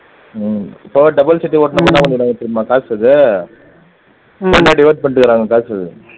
உம் இப்போ double chit ஓட்டுனா தெரியுமா